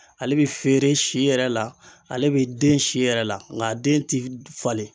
Ale be feere si yɛrɛ la, ale be den si yɛrɛ la ŋ'a den ti falen.